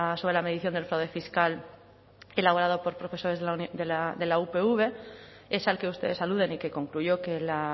sobre la medición del fraude fiscal elaborado por profesores de la upv es al que ustedes aluden y que concluyó que la